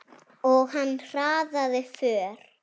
Og hann hraðaði för.